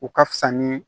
O ka fisa ni